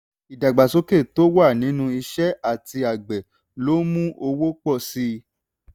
ìdàgbàsókè tó wà nínú iṣẹ́ àti àgbẹ̀ lo mú owó pọ̀ síi.